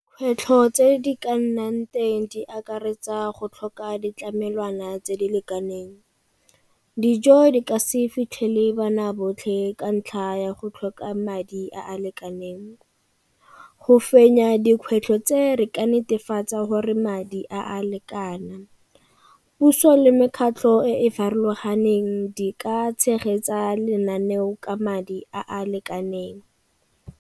Kgwetlho tse di ka nnang teng di akaretsa go tlhoka ditlamelwana tse di lekaneng. Dijo di ka se fitlhele bana botlhe ka ntlha ya go tlhoka madi a a lekaneng. Go fenya dikgwetlho tse re ka netefatsa gore madi a a lekana. Puso le mekgatlho e e farologaneng di ka tshegetsa lenaneo ka madi a a lekaneng.